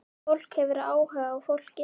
Fólk hefur áhuga á fólki.